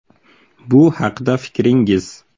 Bu haqida fikringiz?